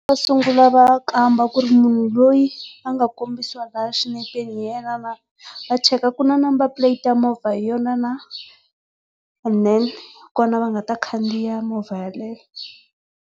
Xo sungula va kamba ku ri munhu loyi a nga kombisiwa laya xinepeni hi yena na, va cheka ku na number plate ya movha hi yona na, and then hikona va nga ta khandziya yaleyo.